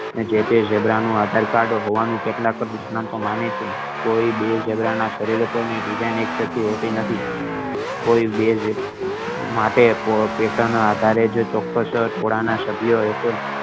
અને જેતે ઝીબ્રા નું આધાર card હોવાનું કેટલાક નિષ્ણાંતો માને છે કોઈ બે ઝીબ્રા ના શરીર પર design એક સરખી હોતી નથી કોઇ બે~ માટે પોતાના ના આધારે ચોક્કસ સ્ભ્ય